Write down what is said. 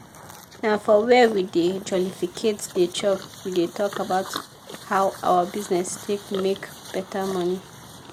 na for were we dey jolificate dey chop we dey talk about how our bizness take make better money.